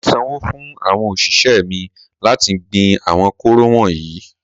Mà á sanwó fún àwọn òṣìṣẹ́ mi láti gbin àwọn kóró wọ̀nyí.